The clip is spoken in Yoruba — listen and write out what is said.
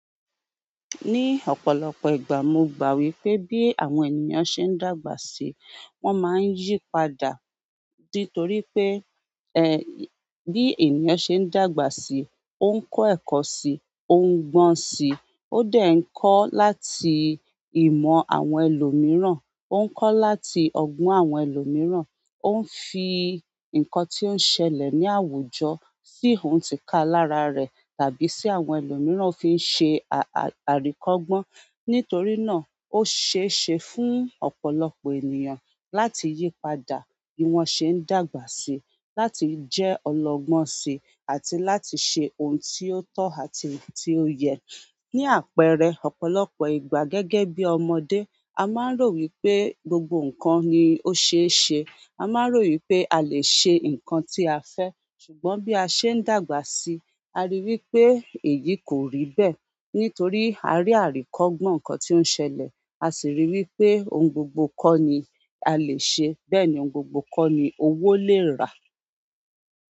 Ní ọ̀pọ̀lọpọ̀ ìgbà mo gbà wípé bí àwọn ènìyàn ṣe ń dàgbà sí, wón máa ń yípadà. Di toripe bi ènìyàn se n dàgbà si, o n ko eko si, o n gbon si, o de nko láti ìmọ̀ àwọn ẹlòmíràn, o nko láti ogbon àwọn ẹlòmíràn. Ó ń fi nǹkan tí ó ń ṣẹlẹ̀ ní àwùjọ si ohun tí ka láraa rẹ̀, tàbí sí àwọn ẹlòmíràn fi ń ṣe à-a-àrikógbon. Nítorí náà ó ṣeé ṣe fún ọ̀pọ̀lọpọ̀ ènìyàn láti yípadà bí wọ́n ṣe ń dàgbà sí, láti jẹ́ ọlọ́gbọ́n sí, àti láti ṣe ohun tí ó tọ́ àti tí ó yẹ. Ni àpẹẹrẹ, ọ̀pọ̀lọpọ̀ ìgbà gẹ́gẹ́ bi ọmọdé, a maa n ro wípé gbogbo nkan ni o seese. A máa ń rò wípé a lè ṣe ǹkan tí a fẹ́. Ṣùgbọ́n bí a ṣe ń dàgbà sí, a rí i wípé èyí kò rí bẹ́ẹ̀. Nítorí a rí àrikógbon ǹkan tí ó ń ṣẹlẹ̀, a sì rí i wípé ohun gbogbo kọ́ ni a lè ṣe, bẹ́ẹ̀ ni ohun gbogbo kọ́ ni owó lè rà.